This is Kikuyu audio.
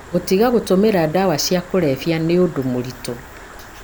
Gũtiga gũtũmĩra ndawa cia kũrebia nĩ ũndũ mũritũ,